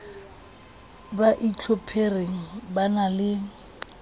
ba itlhophereng ba na le